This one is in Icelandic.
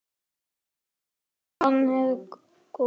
Hann hló ofan í grasið.